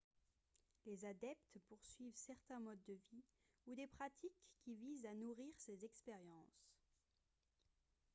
les adeptes poursuivent certains modes de vie ou des pratiques qui visent à nourrir ces expériences